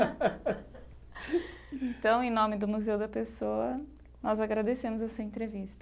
Então, em nome do Museu da Pessoa, nós agradecemos a sua entrevista.